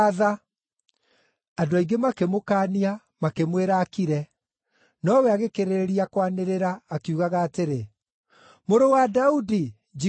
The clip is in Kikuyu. Andũ aingĩ makĩmũkaania, makĩmwĩra akire, nowe agĩkĩrĩrĩria kwanĩrĩra, akiugaga atĩrĩ, “Mũrũ wa Daudi, njiguĩra tha!”